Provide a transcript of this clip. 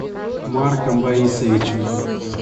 марком борисовичем